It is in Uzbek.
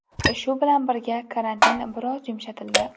Shu bilan birga, karantin biroz yumshatildi.